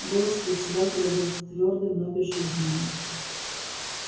голос председателя был твёрдым но безжизненным